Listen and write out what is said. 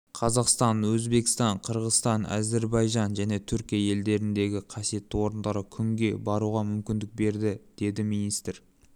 қазақстан өзбекстан қырғызстан әзербайжан және түркия елдеріндегі қасиетті орындарға күнге баруға мүмкіндік берді деді министр